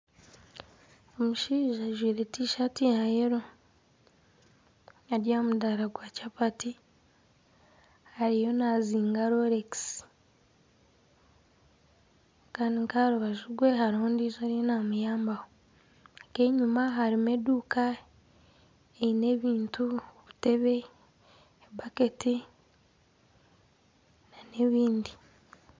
Omushaija ajwaire tishaati ya kinekye. Ari aha mudaara gwa kyapati ariyo nazinga rolekisi. Kandi nk'aha rubaju rwe hariho ondiijo ariyo namuyambaho. Nk'enyima harimu eduuka eine ebintu, obutebe, ebaketi n'ebindi.